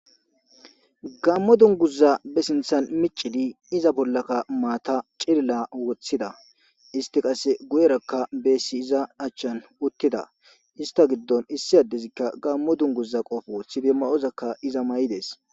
Gammo dunguza be sinthan micidi iza bollakka maata cilila woththida isti qasse guyerakka beessi iza achchan uttida ista giddon issi addezikka gammo dunguza qofo sibe ma7ozakka iza ma7idees